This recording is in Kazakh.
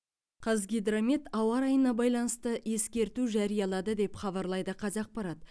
қазгидромет ауа райына байланысты ескерту жариялады деп хабарлайды қазақпарат